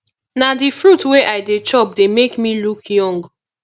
na the fruit wey i dey chop dey make me look young